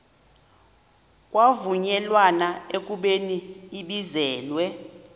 kwavunyelwana ekubeni ibizelwe